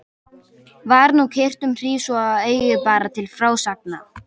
Var nú kyrrt um hríð svo að eigi bar til frásagna.